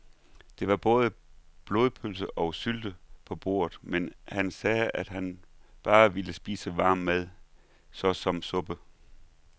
Der var både blodpølse og sylte på bordet, men han sagde, at han bare ville spise varm mad såsom suppe.